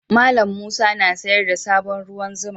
Mallam Musa na sayar da sabon ruwan zuma.